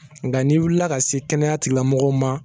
Nka n'i wulila ka se kɛnɛya tigilamɔgɔw ma